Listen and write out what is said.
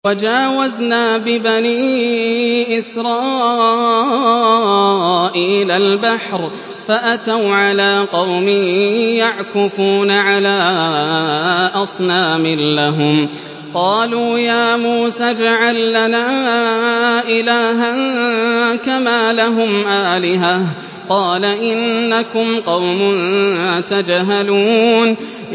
وَجَاوَزْنَا بِبَنِي إِسْرَائِيلَ الْبَحْرَ فَأَتَوْا عَلَىٰ قَوْمٍ يَعْكُفُونَ عَلَىٰ أَصْنَامٍ لَّهُمْ ۚ قَالُوا يَا مُوسَى اجْعَل لَّنَا إِلَٰهًا كَمَا لَهُمْ آلِهَةٌ ۚ قَالَ إِنَّكُمْ قَوْمٌ تَجْهَلُونَ